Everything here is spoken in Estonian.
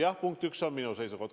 Jah, punkt üks: see on minu seisukoht.